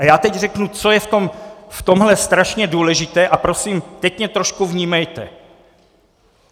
A já teď řeknu, co je v tomhle strašně důležité, a prosím, teď mě trošku vnímejte.